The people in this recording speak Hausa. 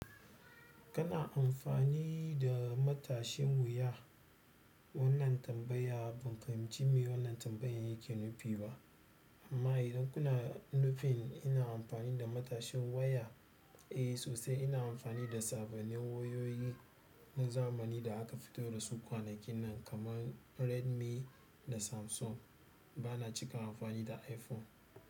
Kana amfani da matashin wuya? Wannan tambaya ban fahimci me wannan tambayan yake nufi ba. Amma idan kuna nufin ina amfani da matashin waya, eh sosai ina amfani da sababbin wayoyi na zamani da aka fitar da su kwanakin nan kamar Redmi da Samsung. Bana cika amfani da iPhone.